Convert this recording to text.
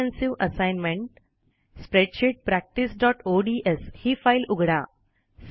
comprehensive assignment spreadsheet practice ODS ही file उघडा